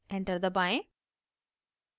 enter दबाएं